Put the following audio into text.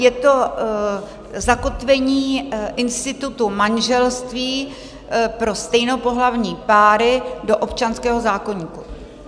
Je to Zakotvení institutu manželství pro stejnopohlavní páry do občanského zákoníku.